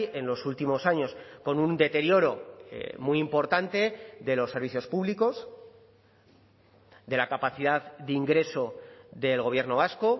en los últimos años con un deterioro muy importante de los servicios públicos de la capacidad de ingreso del gobierno vasco